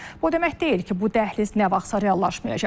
Bu o demək deyil ki, bu dəhliz nə vaxtsa reallaşmayacaq.